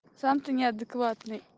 сам ты неадекватный